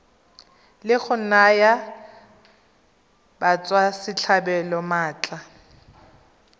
la go naya batswasetlhabelo maatla